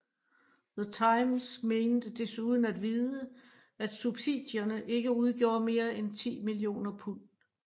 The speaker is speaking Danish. The Times mente desuden at vide at subsidierne ikke udgjorde mere end 10 mio pund